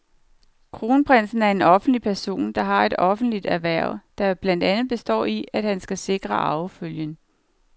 Kronprinsen er en offentlig person, der har et offentligt hverv, der blandt andet består i, at han skal sikre arvefølgen.